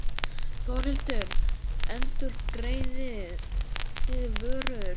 Þórhildur: Endurgreiðið þið vörur?